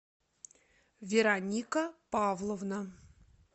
вероника павловна